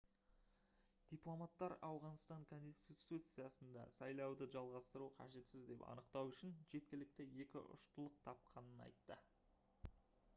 дипломаттар ауғанстан конституциясында сайлауды жалғастыру қажетсіз деп анықтау үшін жеткілікті екі ұштылық тапқанын айтты